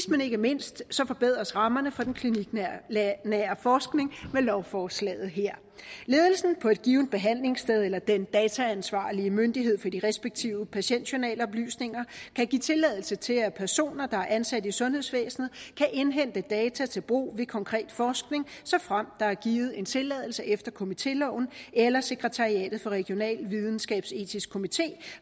men ikke mindst forbedres rammerne for den kliniknære forskning med lovforslaget her ledelsen på et givent behandlingssted eller den dataansvarlige myndighed for de respektive patientjournaloplysninger kan give tilladelse til at personer der er ansat i sundhedsvæsenet kan indhente data til brug ved konkret forskning såfremt der er givet en tilladelse efter komitéloven eller sekretariatet for en regional videnskabsetisk komité